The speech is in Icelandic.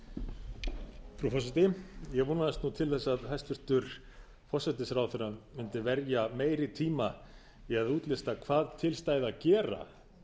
frú forseti ég vonaðist til þess að hæstvirtur forsætisráðherra mundi verja meiri tíma í að útlista hvað til stæði að gera